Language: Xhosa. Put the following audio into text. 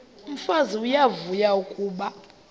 umfazi uyavuya kuba